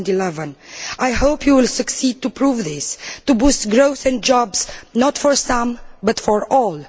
2011. I hope you will succeed in proving this, in boosting growth and jobs not for some, but for all.